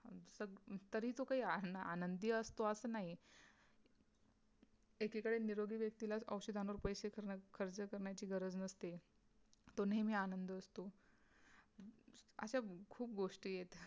तरी तो काही आन आनंदी असतो असं नाही एकीकडे निरोगी व्यक्तीला औषधांवर पैसे खर्च करण्याची गरज नसते तो नेहमी आनंदी असतो अशा खूप गोष्टी आहेत.